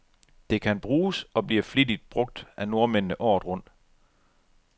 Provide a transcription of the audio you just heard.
Det kan bruges, og bliver flittigt brug af nordmændene, året rundt.